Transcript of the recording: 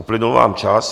Uplynul vám čas.